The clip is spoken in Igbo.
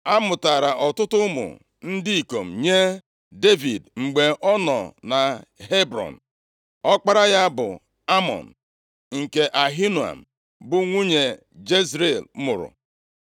A mụtaara ọtụtụ ụmụ ndị ikom nye Devid mgbe ọ nọ na Hebrọn. Ọkpara ya bụ Amnọn nke, Ahinoam bụ nwanyị Jezril mụrụ.